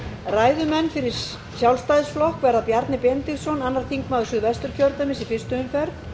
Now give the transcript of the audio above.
ræðumenn fyrir sjálfstæðisflokk verða bjarni benediktsson annar þingmaður suðvesturkjördæmis í fyrstu umferð